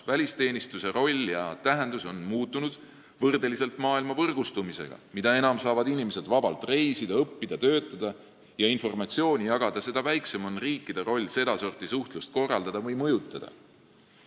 Välisteenistuse roll ja tähendus on muutunud võrdeliselt maailma võrgustumisega: mida enam saavad inimesed vabalt reisida, õppida, töötada ja informatsiooni jagada, seda väiksem on riikide roll sedasorti suhtluse korraldamisel või mõjutamisel.